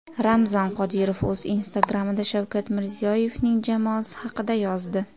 Ramzan Qodirov o‘z Instagram’ida Shavkat Mirziyoyevning jamoasi haqida yozdi.